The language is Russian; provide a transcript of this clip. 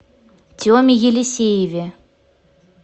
теме елисееве